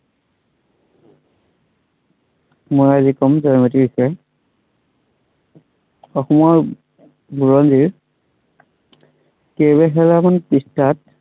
মই আজি কম জয়মতীৰ বিষয়ে। অসমৰ, বুৰঞ্জীত পৃষ্ঠাত